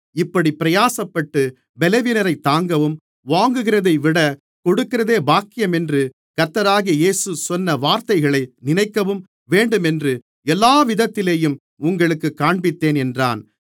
இப்படிப் பிரயாசப்பட்டு பலவீனரைத் தாங்கவும் வாங்குகிறதைவிட கொடுக்கிறதே பாக்கியம் என்று கர்த்தராகிய இயேசு சொன்ன வார்த்தைகளை நினைக்கவும் வேண்டுமென்று எல்லாவிதத்திலேயும் உங்களுக்குக் காண்பித்தேன் என்றான்